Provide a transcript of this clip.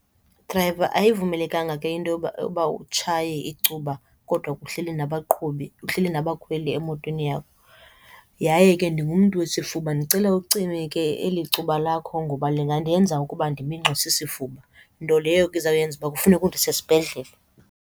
Drayiva, ayivumelekanga ke into yoba utshaye icuba kodwa kuhleli nabaqhubi, uhleli nabakhweli emotweni yakho. Yaye ke ndingumntu wesifuba. Ndicele ucime ke eli cuba lakho ngoba lingandenza ukuba ndiminxwe sisifuba, nto leyo ke izawuyenza ukuba kufuneka undise esibhedlele.